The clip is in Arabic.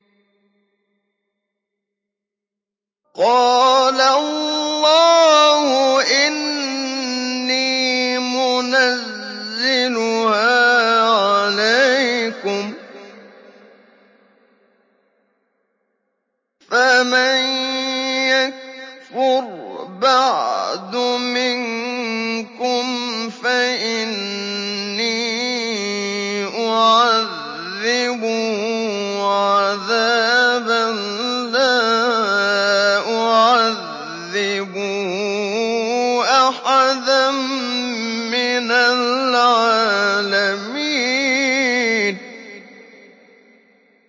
قَالَ اللَّهُ إِنِّي مُنَزِّلُهَا عَلَيْكُمْ ۖ فَمَن يَكْفُرْ بَعْدُ مِنكُمْ فَإِنِّي أُعَذِّبُهُ عَذَابًا لَّا أُعَذِّبُهُ أَحَدًا مِّنَ الْعَالَمِينَ